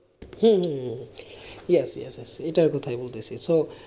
হম হম হম yes yes এটার কথাই বলতেছি তো,